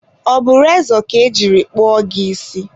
ọ bụ rezọ ka e jiri kpụọ gị isi?